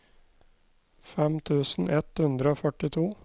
fem tusen ett hundre og førtito